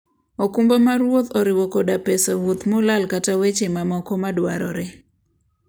okumba mar wuoth oriwo koda pes wuoth molal kata weche mamoko madwarore.